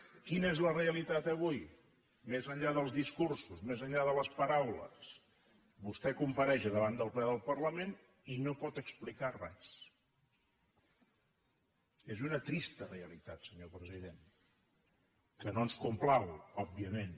quina és la realitat avui més enllà dels discursos més enllà de les paraules vostè compareix a davant del ple del parlament i no pot explicar res és una trista realitat senyor president que no ens complau òbviament